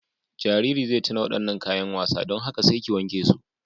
Jaririn zai tauna waɗannan kayan wasa, don haka sai ki wanke su.